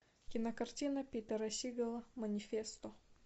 кинокартина питера сигала манифесто